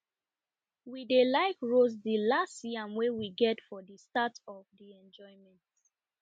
we dey like roast de last yam wey we get for de start of the enjoyment